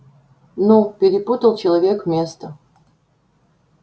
ну перепутал человек место